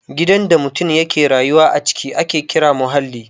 Gidan da mutum ya ke rayuwa a ciki ake kira muhalli